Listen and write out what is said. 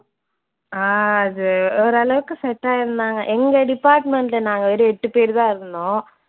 ஆஹ் அது ஓரளவுக்கு set ஆயிருந்தாங்க. எங்க department ல நாங்க வெறும் எட்டு பேரு தான் இருந்தோம்